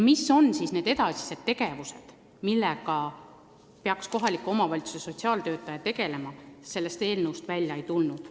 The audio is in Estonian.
Mis on need edasised tegevused, millega peaks kohaliku omavalitsuse sotsiaaltöötaja tegelema, see eelnõust välja ei tule.